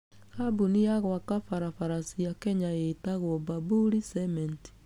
Kambuni ya gwaka barabara cia Kenya ĩĩtagwo Bamburi Cement.